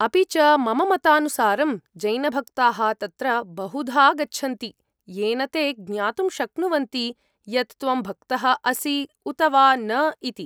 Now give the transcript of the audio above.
अपि च मम मतानुसारं जैनभक्ताः तत्र बहुधा गच्छन्ति, येन ते ज्ञातुं शक्नुवन्ति यत् त्वं भक्तः असि उत वा न इति।